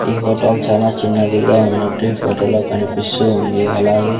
ఈ హోటల్ చానా చిన్నదిగా ఉన్నట్టు ఈ ఫోటోలో కనిపిస్తూ ఉంది అలాగే--